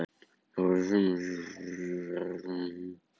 Stjáni var fyrir löngu kominn úr sturtunni og búinn að þurrka gólfið eftir sig.